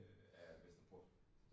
Øh af Vesterport